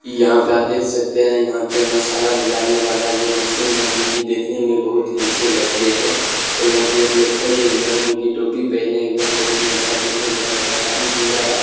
यहां पे आप देख सकते हैं यहां पे मसाला मिलाने वाला ये मशीन है जो की देखने में बहुत ही अच्छे लगते हैं और यहां पे एक लोग खड़े हुए है जो की टोपी पहने हुए है बहुत ही अच्छा देखने मे लगता है काफी सुंदर है।